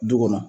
Du kɔnɔ